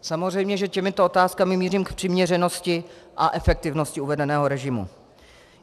Samozřejmě že těmito otázkami mířím k přiměřenosti a efektivnosti uvedeného režimu.